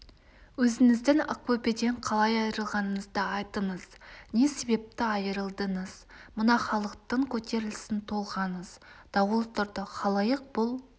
өзіңіздің ақбөпеден қалай айырылғаныңызды айтыңыз не себепті айырылдыңыз мына халықтың көтерілісін толғаңыз дауыл тұрды халайық бұл